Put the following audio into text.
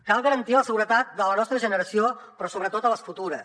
cal garantir la seguretat de la nostra generació però sobretot de les futures